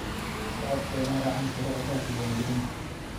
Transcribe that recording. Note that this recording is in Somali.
Shacabku waa inay raacaan shuruucda diiwaangelinta.